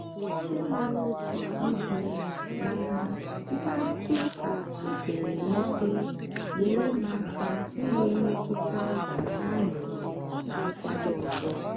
ikpe mara oke ibu mana mkparịta ụka mepere emepe nyeere m aka inwe mmetụta nke anụuru na nkwado ọzọ.